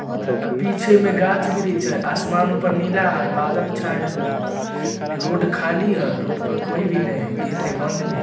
आ पीछे में गाछ बिरिछ हय। आसमान ऊपर नीला हय। बादल छाए हुए हैं रोड खाली है रोड पर कोई भी नहीं है गेट है बंद भी है।